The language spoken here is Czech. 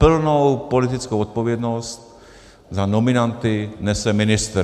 Plnou politickou odpovědnost za nominanty nese ministr.